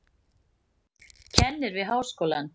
Kennir við háskólann.